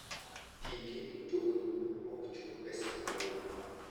Ti gi mtokni ma ok chul pesa mang'eny.